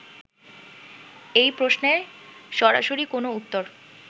এই প্রশ্নে সরাসরি কোন উত্তর